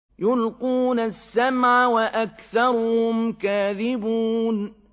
يُلْقُونَ السَّمْعَ وَأَكْثَرُهُمْ كَاذِبُونَ